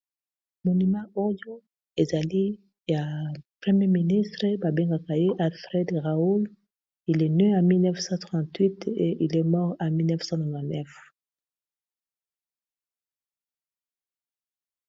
monima oyo ezali ya premier ministre babengaka ye alfred raul ile n a 1938 e iles mort a 1999